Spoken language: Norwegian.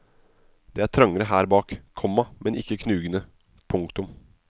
Det er trangere her bak, komma men ikke knugende. punktum